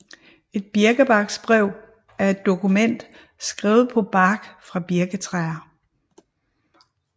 Et birkebarksbrev er et dokument skrevet på bark fra birketræer